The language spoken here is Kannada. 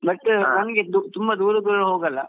But ನಮಗೆ ಮತ್ತೆ ತುಂಬಾ ದೂರ ದೂರ ಹೋಗಲ್ಲ.